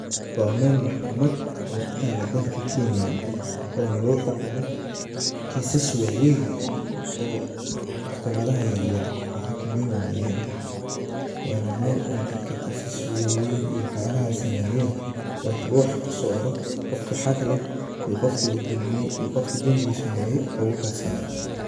Waa mel maxkamad oo kenya kutalo, waxa maskaxdayda kusoo dhacaya waa caddaalad, sharci, iyo awood dowladeed. Waa dhismaha Maxkamadda Sare ee Kenya, taas oo ah hay'adda ugu sarreysa ee garsoorka dalka. Waxay astaan u tahay cadaalad, xukun madax-bannaan, iyo go'aano waaweyn oo saameeya dalka oo dhan. waana Mel dadka lagukala saro.